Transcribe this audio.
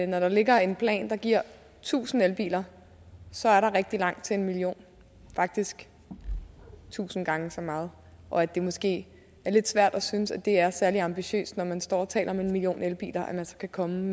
når der ligger en plan der giver tusind elbiler så er der rigtig langt op til en million faktisk tusind gange så meget og at det måske er lidt svært at synes at det er særlig ambitiøst når man står og taler om en million elbiler at man så kan komme